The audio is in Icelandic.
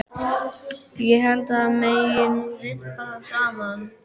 Ég held að það megi nú rimpa það saman.